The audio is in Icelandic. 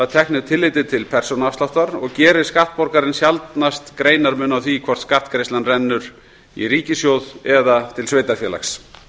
teknu tilliti til persónuafsláttar og gerir skattborgarinn sjaldnast greinarmun á því hvort skattgreiðslan rennur í ríkissjóð eða til sveitarfélags